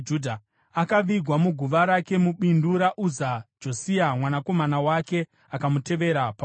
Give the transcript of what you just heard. Akavigwa muguva rake mubindu raUza. Josia mwanakomana wake akamutevera paumambo.